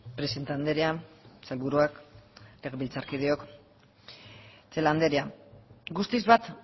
presidente andrea sailburuak legebiltzarkideok celaá andrea guztiz bat